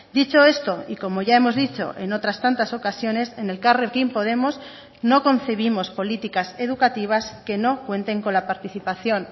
dicho esto y como ya hemos dicho en otras tantas ocasiones en elkarrekin podemos no concebimos políticas educativas que no cuenten con la participación